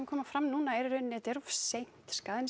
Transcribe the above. koma fram núna þetta er of seint skaðinn